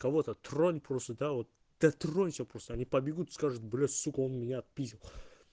кого-то тронь просто да вот дотронься просто они побегут и скажут блять сука он меня отпиздил